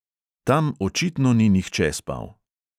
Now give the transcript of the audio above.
Tam očitno ni nihče spal.